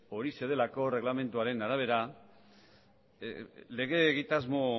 horixe delako erreglamentuaren arabera lege egitasmo